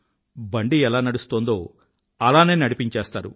బండి ఎలా నడుస్తొందో అలానే నడిపించేస్తారు